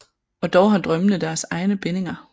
Og dog har drømmene deres egne bindinger